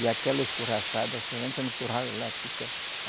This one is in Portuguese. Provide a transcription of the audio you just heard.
E aquela escorraçada, você entra no curral e ela fica.